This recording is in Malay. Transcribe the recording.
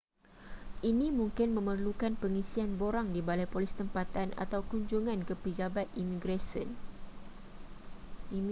ini mungkin memerlukan pengisian borang di balai polis tempatan atau kunjungan ke pejabat imigresen